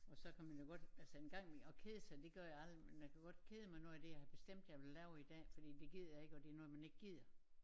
Og så kan man jo godt altså en gang i mellem at kede sig de gør jeg aldrig men jeg kan godt kede mig når det jeg har bestemt jeg ville lave i dag fordi det gider jeg ikke og det noget man ikke gider